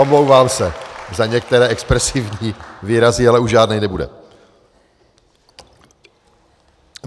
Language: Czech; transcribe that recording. Omlouvám se za některé expresivní výrazy, ale už žádný nebude.